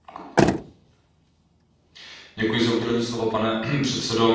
Pane předsedající, já bych chtěl poděkovat panu Omarjeemu za výbornou zprávu.